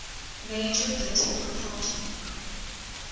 major political party